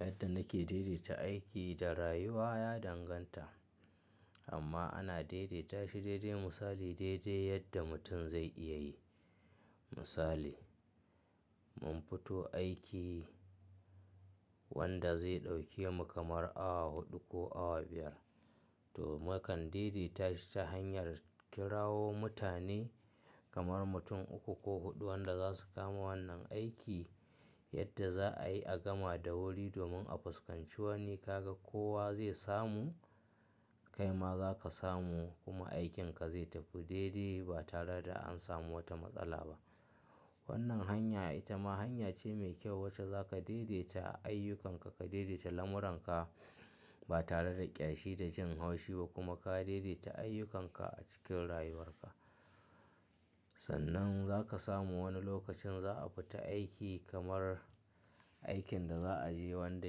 Yadda nake daidaita aiki da rayuwa ya danganta amma ana daidaita shi daidai misali daidai yadda mutum zai iya yi. Misali, mun fito aiki wanda zai ɗauke mu kamar awa huɗu ko awa biyar to mukan daidaita shi ta hanyar kirawo mutane kamar mutum uku ko huɗu wanda za su kama wannan aiki yadda za a yi a gama da wuri domin a fuskanci wani ka ga kowa zai samu, kai ma za ka samu kuma aikinka zai tafi daidai ba tare da an samu wata matsala ba. Wannan hanya ita ma hanya ce mai kyau wacce za ka daidaita ayyukanka, ka daidaita lamuranka ba tare da ƙyashi da jin haushi ba kuma ka daidaita ayyukanka a cikin rayuwarka. Sannan za ka samu wani lokacin za a fita aiki kamar aikin da za a je wanda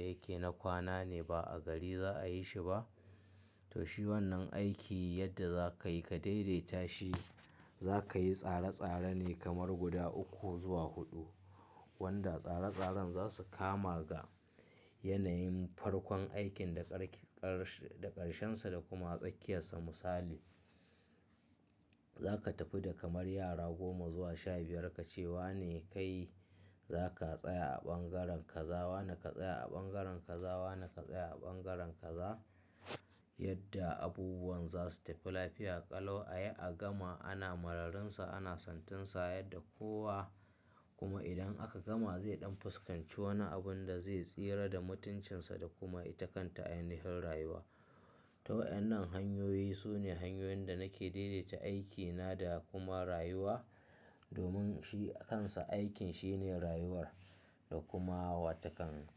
yake na kwana ne ba a gari za a yi shi ba. To shi wannan aiki yadda za ka yi, ka daidaita shi. Za ka yi tsare-tsare ne kamar guda uku zuwa huɗu wanda tsare-tsaren za su kama ga yanayin farkon aikin da ƙar-ƙar-ƙarshensa da kuma tsakiyarsa. Misali, za ka tafi da kamar yara goma zuwa sha biyar ka ce wa ne kai za ka tsaya a ɓangaren kaza wa ne ka tsaya a ɓangaren ka, za wa ne ka tsaya a ɓangaren kaza yadda abubuwan za su tafi lafiya ƙalau a yi a gama ana mararinsa, ana santinsa yadda kowa kuma idan aka gama zai ɗan fuskanci wani abun da zai tsira da mutuncinsa da kuma ita kanta ainihin rayuwa. To wannan hanyoyi su ne hanyoyin da nake daidaita aikina da kuma rayuwa domin shi kansa aikin shine rayuwar da kuma wataƙan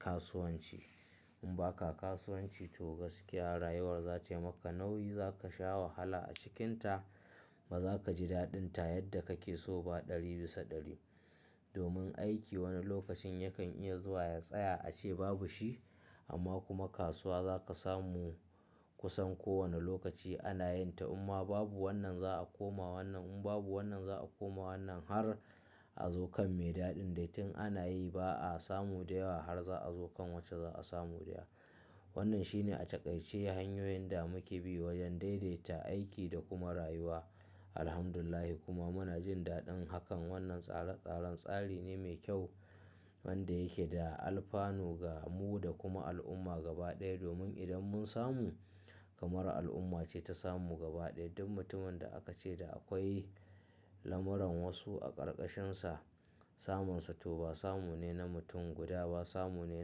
kasuwanci. In ba ka kasuwanci to gaskiya rayuwar za ta yi maka nauyi, za ka sha wahala a cikinta ba za ka ji daɗinta yadda kake so ba ɗari bisa ɗari. Domin aiki wani lokacin yakan iya zuwa ya tsaya a ce babu shi amma kuma kasuwa za ka samu kusan kowane lokaci ana yin ta imma babu wannan za a koma wannan, in babu wannan za a koma wannan har a zo kan mai daɗin da tun ana yi ba a samu da yawa har za a zo kan wacce za a samu dayawa. Wannan shine a taƙaice hanyoyin da muke bi wajen daidaita aiki da kuma rayuwa. Alhamdulillah kuma muna jin daɗin hakan. Wannan tsare-tsaren tsari ne mai kyau wanda yake da alfanu ga mu da kuma al'umma gaba ɗaya domin idan mun samu kamar al'umma ce ta samu gaba ɗaya. Duk mutumin da aka ce da akwai lamuran wasu a ƙarƙashinsa, samun sa to ba samu ne na mutum guda ba samu ne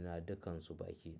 na dukansu baƙi.